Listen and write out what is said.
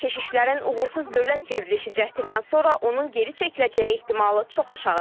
Keçişlərin uğursuz dövlət çevrilişi cəhdindən sonra onun geri çəkiləcəyi ehtimalı çox aşağıdır.